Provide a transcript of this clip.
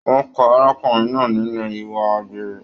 Wọn ka arákùnrin náà nínú ìwà àgbèrè.